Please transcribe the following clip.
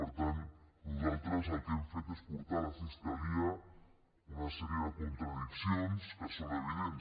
per tant nosaltres el que hem fet és portar a la fiscalia una sèrie de contradiccions que són evidents